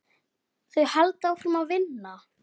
Þau halda áfram að vinna.